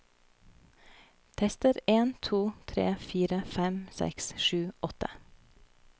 Tester en to tre fire fem seks sju åtte